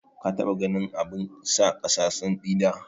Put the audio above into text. Ka taɓa ganin abun sa kasa santsi da?